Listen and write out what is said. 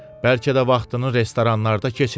Bəlkə də vaxtını restoranlarda keçirir.